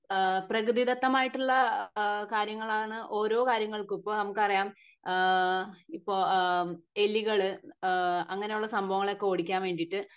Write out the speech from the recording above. അഹ് പ്രകൃതിദത്തമായിട്ടുള്ള അഹ് കാര്യങ്ങളാണ് ഓരോ കാര്യങ്ങൾക്കും ഇപ്പൊ നമുക്ക് അറിയാം ഏഹ് ഇപ്പൊ ഏഹ്മ് എലികള് അങ്ങിനെ ഉള്ള സംഭവങ്ങളെ ഒക്കെ ഓടിക്കാൻ വേണ്ടിട്ട്